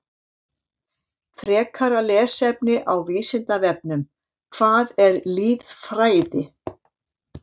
Frekara lesefni á Vísindavefnum: Hvað er lýðfræði?